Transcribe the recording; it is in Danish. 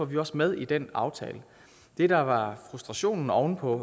vi også med i den aftale det der var frustrationen oven på